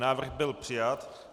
Návrh byl přijat.